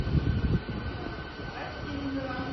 осинцева